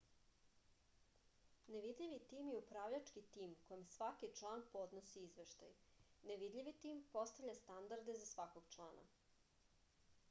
nevidljivi tim je upravljački tim kojem svaki član podnosi izveštaj nevidljivi tim postavlja standarde za svakog člana